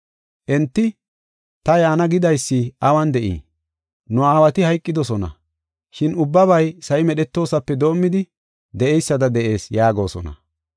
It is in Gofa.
Enti, “Ta yaana gidaysi awun de7ii? Nu aawati hayqidosona, shin ubbabay sa7i medhetoosape doomidi de7eysada de7ees” yaagosona.